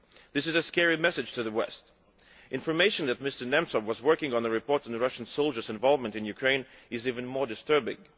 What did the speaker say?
This is a scary message to the West. Information that Mr Nemtsov was working on a report on Russian soldiers' involvement in Ukraine is even more disturbing.